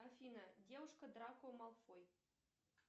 афина девушка драко малфой